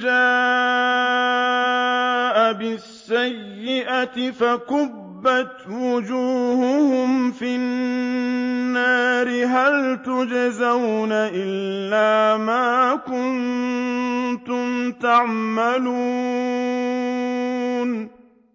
جَاءَ بِالسَّيِّئَةِ فَكُبَّتْ وُجُوهُهُمْ فِي النَّارِ هَلْ تُجْزَوْنَ إِلَّا مَا كُنتُمْ تَعْمَلُونَ